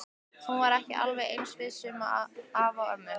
Hún var ekki alveg eins viss um afa og ömmu.